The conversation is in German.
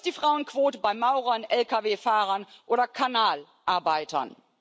Wo ist die Frauenquote bei Maurern, LKW Fahrern oder Kanalarbeitern?